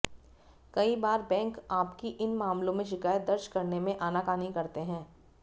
कई बार बैंक आपकी इन मामलों में शिकायत दर्ज करने में आनाकानी करते हैं